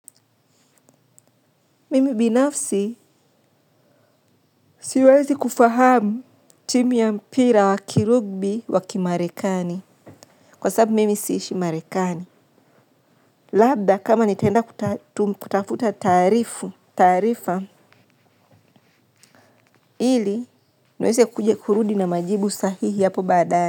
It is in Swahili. Mimi binafsi siwezi kufahamu timu ya mpira wa kirugby wa Kimarekani. Kwa sababu mimi siishi Marekani. Labda, kama nitaenda kutafuta taarifa ili niweze kurudi na majibu sahihi hapo badaaye.